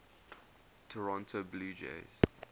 toronto blue jays